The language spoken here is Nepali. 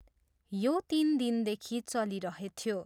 यो तिन दिनदेखि चलिरहेथ्यो।